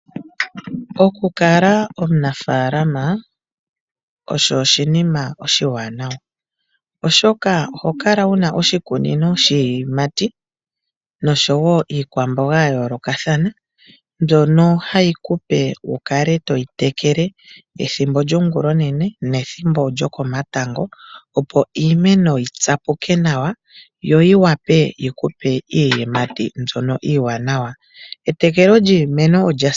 Oku kala omunafalaama oshinima oshiwanawa oshoka oho kala wuna iiyimati oshowo iikwamboga mbyoka hayi kupe wu kale toyi trkele yo yitsapuke nawa . Etekelo lyiimeno olya simana.